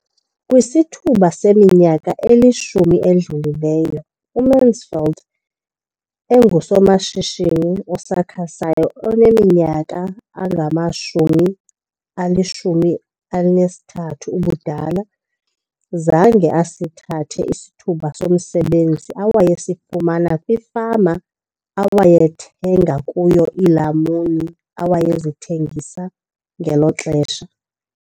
Kwisithuba seminyaka elishumi edlulileyo, uMansfield engusomashishini osakhasayo oneminyaka engama-23 ubudala, zange asithathe isithuba somsebenzi awayesifumana kwifama awayethenga kuyo iilamuni awayezithengisa ngelo xesha.